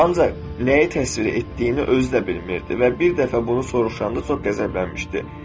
Ancaq nəyi təsvir etdiyini özü də bilmirdi və bir dəfə bunu soruşanda çox qəzəblənmişdi.